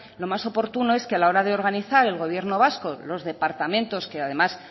lo más oportuno es que a la hora de organizar el gobierno vasco los departamentos que además